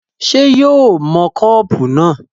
ṣé yóò ó mọ kọ́pù náà?